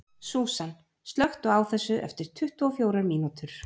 Súsan, slökktu á þessu eftir tuttugu og fjórar mínútur.